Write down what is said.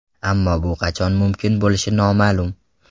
Ammo bu qachon mumkin bo‘lishi noma’lum.